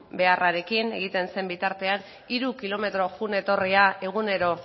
beharrarekin egiten zen bitartean hiru kilometro joan etorria egunero